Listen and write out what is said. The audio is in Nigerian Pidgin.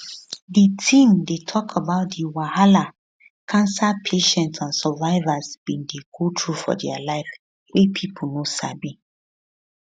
di theme dey tok about di wahala cancer patients and survivors bin dey go through for dia life wey pipo no sabi